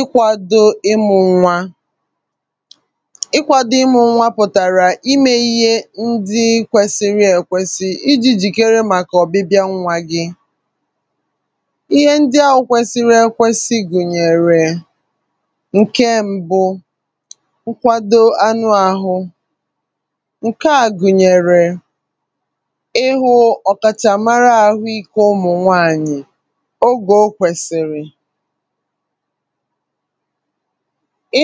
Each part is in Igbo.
ikwȧdȯ ịmụ̇ ṅwa pụ̀tàrà imė ihe ndị kwesịrị èkwesị iji̇ jìkere màkà ọ̀bịbịa nwa gị ihe ndị awụ̇ kwesịrị èkwesị gụ̀nyèrè ǹke mbụ nkwado anụ àhụ ǹke à gụ̀nyèrè ịhụ̇ ọ̀kàchà mara àhụ ikė ụmụ̀ nwaànyị̀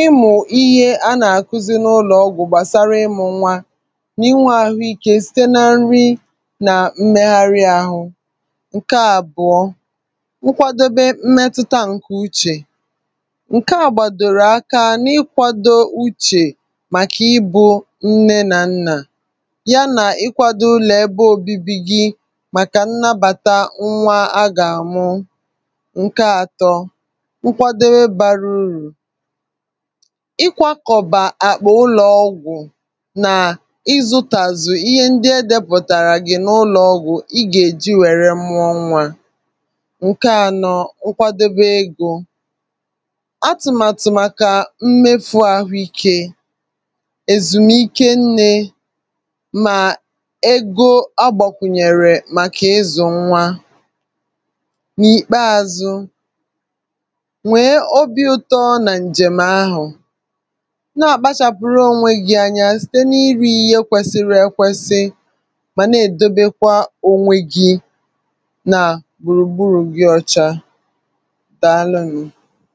ịmụ̇ ihe a nà-àkuzi n’ụlọ̀ ọgwụ̀ gbàsara ịmụ̇ ọnwa n’inwȧ àhụikė site na nri nà mmegharị ȧhụ̇ ǹke àbụ̀ọ nkwadobe mmetụta ǹkè uchè ǹke à gbàdòrò aka n’ikwȧdȯ uchè màkà ibu̇ nne nà nnà ya nà ikwȧdȯ ụlọ̀ ebe òbibi gi màkà nnabàta nwa a gà-àmụ nkwadobe bara urù i kwakọ̀bà àkpà ụlọ̀ ọgwụ̀ nà ịzụtazụ̀ ihe ndị è depụ̀tàrà gị̀ n’ụlọ̀ ọgwụ̀ ị gà-èji wère mụọ nwa ǹke ȧnọ̇ nkwadobe egȯ atụ̀màtụ̀ màkà mmefu ahụikė èzùmike nnė mà egȯ agbàkwùnyèrè màkà ịzụ̀ nwa nwee obi̇ ụtọ ọrụ nà ǹjèm ahụ̀ nà-àkpachàpụ̀rụ ònwegi̇ anya site n’iru ihe kwesiri èkwesi mà na-èdobekwa ònwegi̇ nà gbùrùgbùrù gị ọcha dàalụ n